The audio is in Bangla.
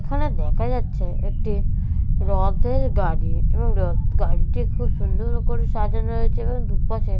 এখানে দেখা যাচ্ছে একটি রথের গাড়ি এবং রথ গাড়িটি খুব সুন্দর করে সাজানো হয়েছে এবং দুপাশে --